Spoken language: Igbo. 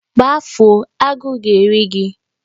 Gbafuo! Agụ ga-eri gi